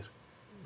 Vinger.